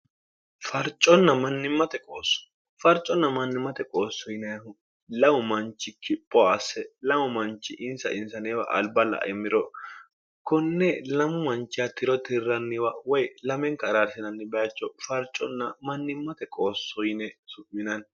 farconna mannimmate qoossoyineehu lamu manchi kipho asse lamu manchi insa insaneewa alba la'emmiro konne lamu manchi hattiro tirranniwa woy lamenka araarsinanni bayacho farconna mannimmate qoossoyine subminanni